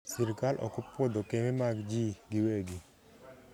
sirkal okopuodho kembe mag jii gi wegi